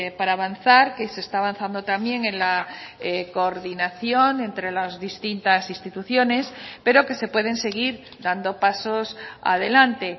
para avanzar que se está avanzando también en la coordinación entre las distintas instituciones pero que se pueden seguir dando pasos adelante